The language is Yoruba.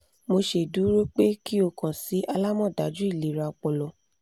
mo ṣeduro pe ki o kan si alamọdaju ilera ọpọlọ